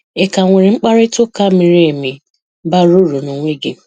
Ị ka nwere mkparịta ụka miri emi, bara uru n'onwe gị?